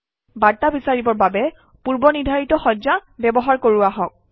বাৰ্তা বিচাৰিবৰ বাবে পূৰ্বনিৰ্ধাৰিত সজ্জা ব্যৱহাৰ কৰোঁ আহক